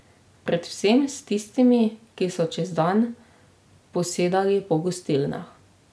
Predvsem s tistimi, ki so čez dan posedali po gostilnah.